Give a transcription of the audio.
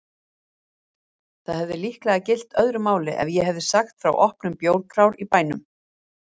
Það hefði líklega gilt öðru máli ef ég hefði sagt frá opnun bjórkrár í bænum!